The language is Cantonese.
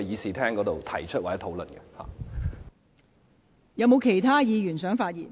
是否有其他議員想發言？